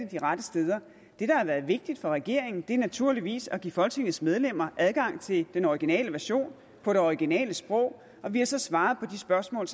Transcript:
de rette steder det der har været vigtigt for regeringen er naturligvis at give folketingets medlemmer adgang til den originale version på det originale sprog og vi har så svaret på de spørgsmål